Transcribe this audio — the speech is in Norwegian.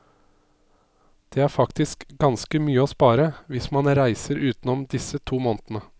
Det er faktisk ganske mye å spare, hvis man reiser utenom disse to månedene.